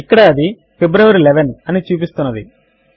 ఇక్కడ అది ఫిబ్రవరి 11 అని చూపిస్తున్నది